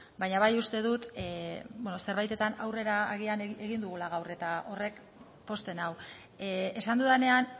baina bai uste dut zerbaitetan aurrera agian egin dugula gaur eta horrek pozten nau esan dudanean